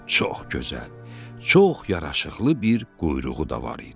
Çox gözəl, çox yaraşıqlı bir quyruğu da var idi.